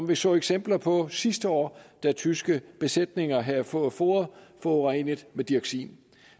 vi så eksempler på sidste år da tyske besætninger havde fået foder forurenet med dioxin